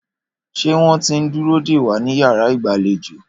Ṣé wọ́n ti ń dúró dè wá ní yàrá ìgbàlejò?